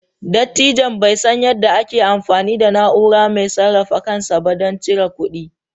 Dattijon bai san yadda ake amfani da na'ura mai sarrafa kansa ba don cire kuɗi.